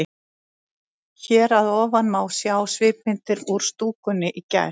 Hér að ofan má sjá svipmyndir úr stúkunni í gær.